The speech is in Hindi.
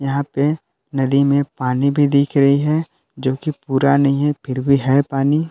यहां पे नदी में पानी भी दिख रही है जो कि पूरा नहीं है फिर भी है पानी।